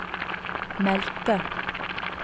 meldte